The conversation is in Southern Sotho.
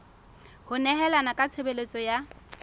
ho nehelana ka tshebeletso ya